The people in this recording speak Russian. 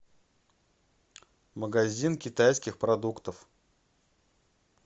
магазин китайских продуктов